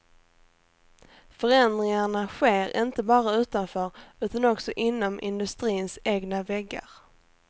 Förändringarna sker inte bara utanför utan också inom industrins egna väggar.